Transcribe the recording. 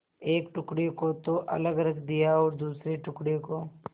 एक टुकड़े को तो अलग रख दिया और दूसरे टुकड़े को